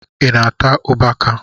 Ị na-ata ugbaka?